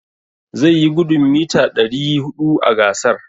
Zai yi gudun mita ɗari huɗu a gasar.